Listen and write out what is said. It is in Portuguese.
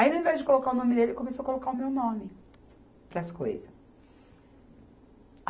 Aí, ao invés de colocar o nome dele, começou a colocar o meu nome para as coisas.